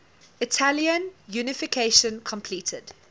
italian unification completed